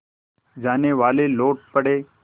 जानेवाले लौट पड़े